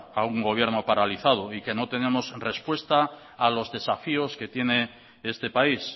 a un gobierno paralizado y que no tenemos respuesta a los desafíos que tiene este país